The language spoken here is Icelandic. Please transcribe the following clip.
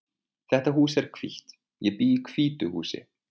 Þetta hús er hvítt. Ég bý í hvítu húsi.